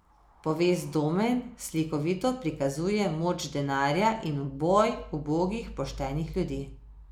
Povest Domen slikovito prikazuje moč denarja in boj ubogih poštenih ljudi.